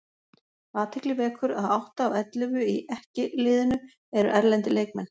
Athygli vekur að átta af ellefu í EKKI liðinu eru erlendir leikmenn.